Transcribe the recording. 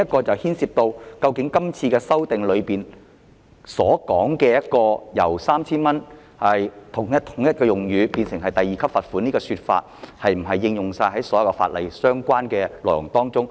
這牽涉到今次修訂為達致用詞一致而將 3,000 元罰款變成第2級罰款的做法，是否適用於所有法例的相關內容。